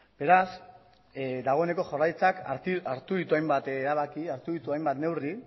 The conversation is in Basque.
beraz dagoeneko jaurlaritzak hartu ditu hainbat erabaki hartu ditu hainbat neurri